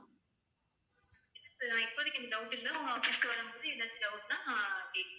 இப்போதைக்கு எந்த doubt உம் இல்ல, office க்கு வரும்போது எதும் doubt னா கேக்குறேன்.